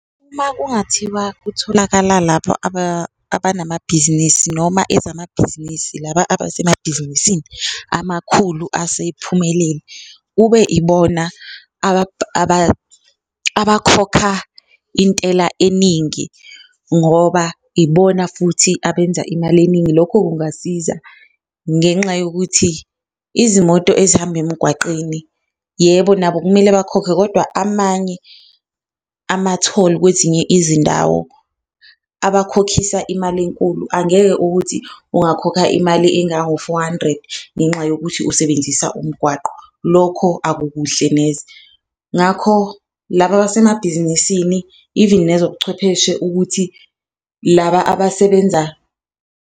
Uma kungathiwa kutholakala lapha abanamabhizinisi noma ezamabhizinisi, laba abasemabhizinisi amakhulu asephumelele kube ibona abakhokha intela eningi ngoba ibona futhi abenza imali eningi. Lokho kungasiza ngenxa yokuthi izimoto ezihamba emgwaqeni, yebo nabo kumele bakhokhe kodwa amanye amatholi kwezinye izindawo abakhokhisa imali enkulu. Angeke ukuthi ungakhokha imali engango-four hundred ngenxa yokuthi usebenzisa umgwaqo, lokho akukuhle neze, ngakho laba abasemabhizinisini even nezobuchwepheshe ukuthi laba abasebenza.